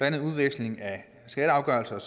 andet udveksling af skatteafgørelser og